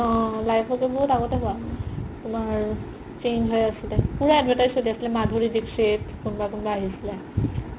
অ live okay বহুত আগতে হুৱা তুমাৰ change হয় আছিলে পুৰা advertise চ্লি আছিলে মাধুৰি দিক্সিত কোনবা কোন্বা আহিছিলে